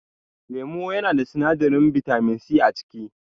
Lemo yanada sinadarin bitaminsi a ciki